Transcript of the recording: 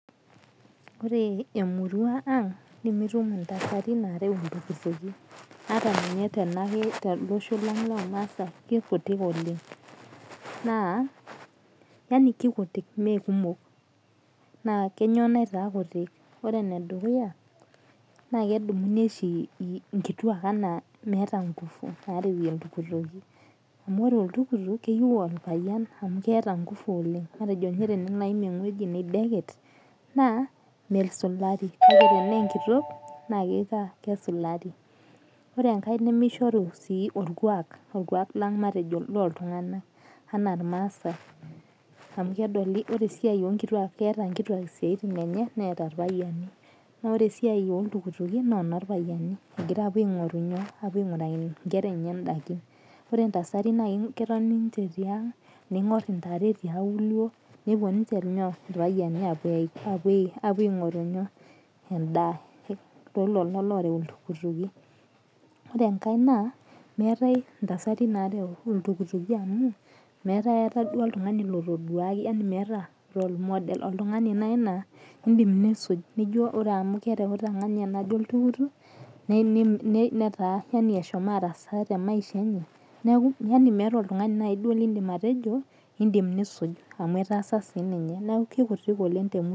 Ore emurua ang' nemitum intasati nareu intukutuki hata ninye to losho lang' lormasae kikutik oleng'. Naa yaani kikutik mee kumok naa kainyoo naitaa kutik? Ore ene dukuya naa kedumunu oshi inkituak anaa meeta ingufu narewie iltukituki. Amu ore oltukutuk keyeu orpayian amuu keeta ngufu oleng'. Matejo ninye naji tenelo aim eweji maideket naa mesulari naa tena kee nkitok naa kesulari. Ore enkae nemishoru naa orkuak, orkuak lang' matejo anaa iltung'ana anaa irmasae amu kedoli ore esiai onkituak keeta nkituak isiatin enye neet irpayani. Naa ore esiai oo iktukituki naa eno irpayiani egira apuo aing'oru inyoo? Aing'oruki inkera enye idaikin. Ore intasatin ketoni ninche tiang' ning'or intare tiaulo nepuo ninche inyoo? Irpayani apuo aing'oru inyoo? Endaa tolelo loreu iltukituki. Ore enkae naa meeta intasati nareu iltukituki amuu meeta akata duo oltung'ani otoduaki yaani meeta role model, oltung'ani naaji laa idim nisuju, nijo ore amu kereuta ng'ania naje oltukutuk neeta ashu araasa te maisha enye neeku meeta oltung'ani lidim naji atejo idim nisuj amu atasa sii ninye. Neeku kikutik oleng' temurua.